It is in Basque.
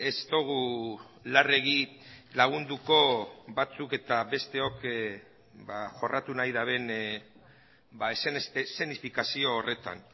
ez dugu larregi lagunduko batzuk eta besteok jorratu nahi duten eszenifikazio horretan